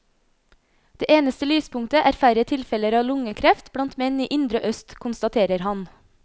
Det eneste lyspunktet er færre tilfeller av lungekreft blant menn i indre øst, konstaterer han.